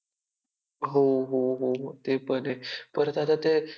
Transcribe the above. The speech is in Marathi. सह्य सह्याद्रीच्या कड्या पा कड्या कपानांनीही पाजर फुटेल डोंगरांमधनही घाम फुटेल.